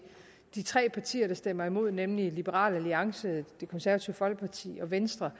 de tre partier der stemmer imod nemlig liberal alliance det konservative folkeparti og venstre